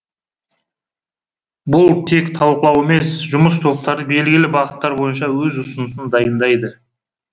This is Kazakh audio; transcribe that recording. бұл тек талқылау емес жұмыс топтары белгілі бағыттар бойынша өз ұсынысын дайындайды